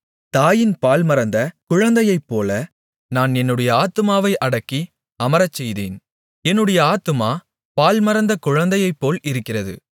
தாயின் பால்மறந்த குழந்தையைப்போல நான் என்னுடைய ஆத்துமாவை அடக்கி அமரச்செய்தேன் என்னுடைய ஆத்துமா பால்மறந்த குழந்தையைப்போல் இருக்கிறது